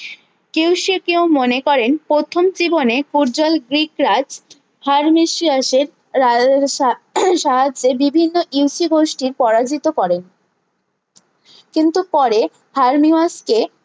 Q সি কিউ মনে করেন প্রথম জীবনে পর্যাল গ্রীকরাজ হার্মেসিউসের সাহায্যে বিভিন্ন ইউসি গোষ্ঠীর পরাজিত করেন কিন্তু পরে হার্মিমুসকে